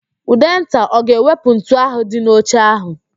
Ụdenta ọ ga-ewepụ ntu ahụ dị n'oche ahụ?